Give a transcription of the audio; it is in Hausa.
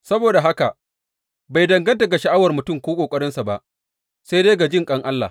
Saboda haka, bai danganta ga sha’awar mutum ko ƙoƙarinsa ba, sai dai ga jinƙan Allah.